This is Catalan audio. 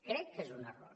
crec que és un error